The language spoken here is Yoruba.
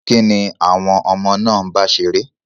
Kín ni àwọn ọmọ náà ń bá ṣeré?